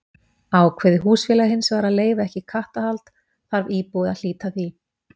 Ákveði húsfélag hins vegar að leyfa ekki kattahald þarf íbúi að hlíta því.